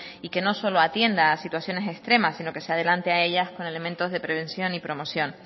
y que no solo atienda a situaciones extremas sino que se adelante a ellas con elementos de prevención y promoción